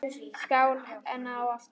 Skál enn og aftur!